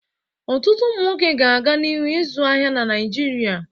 Ọtụtụ ụmụ nwoke ga-aga n'ihu na-azụ ahịa n'Naịjirịa.